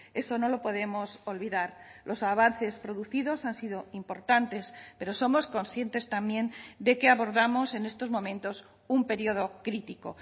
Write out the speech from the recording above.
eso no lo podemos olvidar los avances producidos han sido importantes pero somos conscientes también de que abordamos en estos momentos un periodo crítico